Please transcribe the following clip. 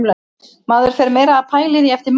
Maður fer meira að pæla í því eftir mót.